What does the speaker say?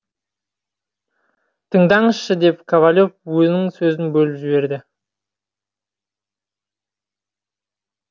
тыңдаңызшы деп ковалев оның сөзін бөліп жіберді